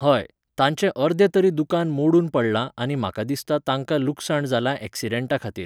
हय, तांचें अर्दें तरी दुकान मोडून पडलां आनी म्हाका दिसता तांकां लुकसाण जालां एक्सिडंटाखातीर